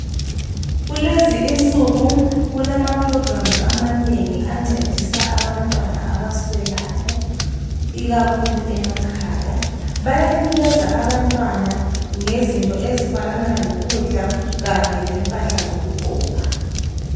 Kulezinsuku kulama programs amanengi ancedisa abantwana abaswelayo ikakhulu emakhaya bayanikeza abantwana ngezinto ezifanana lokudla kanye lempahla zokugqoka.